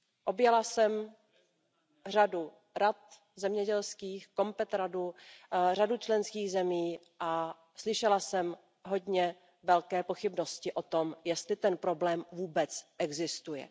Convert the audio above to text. Objela jsem řadu zemědělských rad, Radu COMPET, řadu členských zemí a slyšela jsem hodně velké pochybnosti o tom, jestli ten problém vůbec existuje.